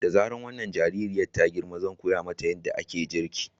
Da zarar wannan jaririyar ta girma zan koya mata yadda ake girki.